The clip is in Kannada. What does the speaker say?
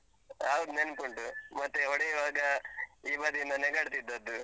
ಹೌದ್, ನೆನ್ಪುಂಟು. ಮತ್ತೆ ಹೊಡಿಯುವಾಗ, ಈ ಬದಿಯಿಂದ ನೆಗಾಡ್ತಿದ್ದದ್ದು.